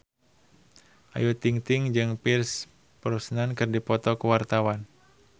Ayu Ting-ting jeung Pierce Brosnan keur dipoto ku wartawan